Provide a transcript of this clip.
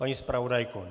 Paní zpravodajko?